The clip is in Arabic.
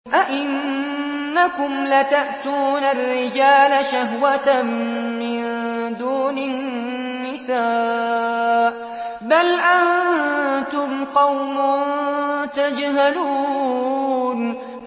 أَئِنَّكُمْ لَتَأْتُونَ الرِّجَالَ شَهْوَةً مِّن دُونِ النِّسَاءِ ۚ بَلْ أَنتُمْ قَوْمٌ تَجْهَلُونَ